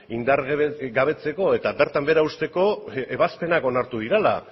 indargabetzeko eta bertan behera uzteko ebazpenak onartu direla